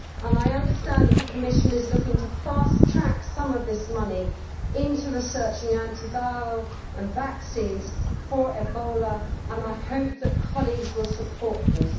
I understand that the Commission is looking to fast track some of this money into researching anti viral drugs and vaccines for Ebola, and I hope that colleagues will support this.